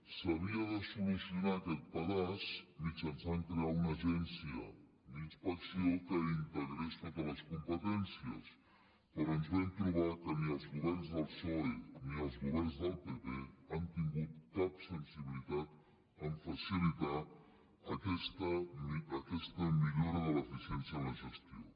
s’havia de solucionar aquest pedaç mitjançant crear una agència d’inspecció que integrés totes les competències però ens vam trobar que ni els governs del psoe ni els governs del pp han tingut cap sensibilitat a facilitar aquesta millora de l’eficiència en la gestió